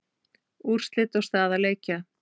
Úrslit og staða leikja